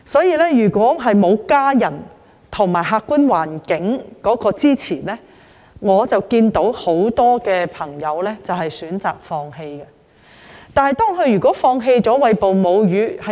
因此，如果沒有家人及客觀環境的支持，很多母親均選擇放棄餵哺母乳。